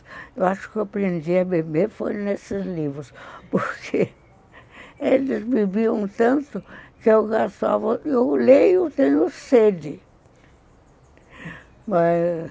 Eu acho que eu aprendi a beber foi nesses livros, porque eles bebiam tanto que eu gastava... Eu leio tendo sede.